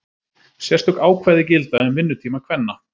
sérstök ákvæði gilda um vinnutíma kvenna